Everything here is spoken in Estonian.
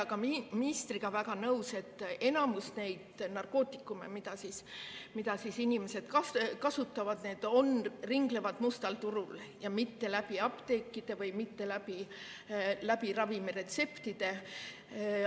Aga olen ka ministriga väga nõus, et enamik neid narkootikume, mida inimesed kasutavad, ringlevad mustal turul, mitte apteekidest ja ravimiretseptidega.